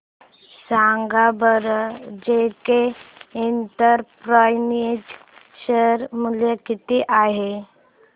सांगा बरं JK enterprises share मूल्य किती आहे